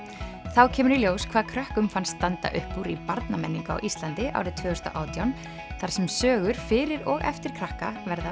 þá kemur í ljós hvað krökkum fannst standa upp úr í barnamenningu á Íslandi árið tvö þúsund og átján þar sem sögur fyrir og eftir krakka verða